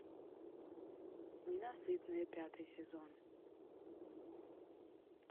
ненасытные пятый сезон